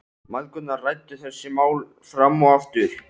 Mæðgurnar ræddu þessi mál fram og aftur.